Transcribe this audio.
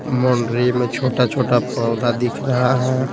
मोंडरी में छोटा-छोटा पौधा दिख रहा है।